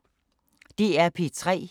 DR P3